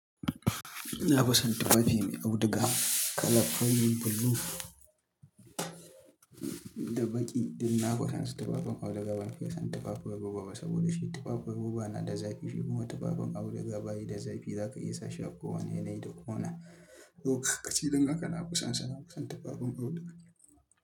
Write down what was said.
Nafi san tufafi mai auduga kala purple blue da baƙi. Ina fi sansu tufafin auduga ban fiye son tufafin roba ba saboda shi tufafin roba na da zafi shikuma tufafin auduga bayi da zafi za ka iya sashi a ko wane yanayi da ko wane. Lokaci don haka nafi sansa na fisan tufafin auduga.